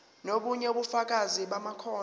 nobunye ubufakazi bamakhono